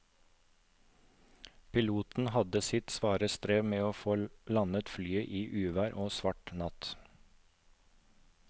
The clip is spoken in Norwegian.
Piloten hadde sitt svare strev med å få landet flyet i uvær og svart natt.